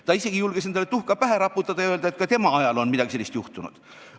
" Ta julges isegi endale tuhka pähe raputada ja öelda, et ka tema ajal on midagi sellist juhtunud.